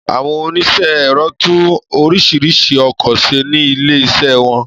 Àwọn oníṣẹ́ ẹ̀rọ tún oríṣiríṣi ọkọ ṣe ní ilé ìṣe wọn